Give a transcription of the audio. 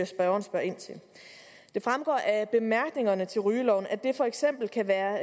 spørgeren spørger ind til det fremgår af bemærkningen til rygeloven at det for eksempel kan være